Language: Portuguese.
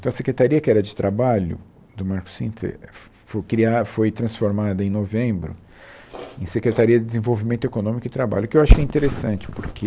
Então, a Secretaria, que era de trabalho do Marcos Cintra, foi cria foi transformada em novembro em Secretaria de Desenvolvimento Econômico e Trabalho, o que eu achei interessante, porque